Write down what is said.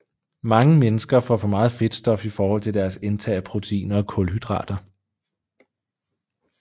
Mange mennesker får for meget fedtstof i forhold til deres indtag af proteiner og kulhydrater